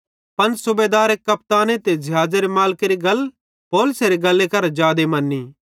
पन सूबेदारे कपताने ते ज़िहाज़ेरे मालिकेरी गल पौलुसेरी गल करां जादे मन्नी